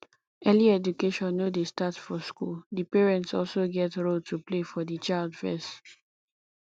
early education no dey start for school di parents also get role to play for di child first